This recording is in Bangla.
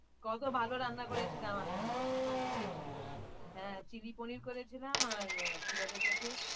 কত ভালো রান্না করেছিলাম আমি হ্যাঁ, চিলি পনির করেছিলাম আর আহ কি বলে ওটাকে?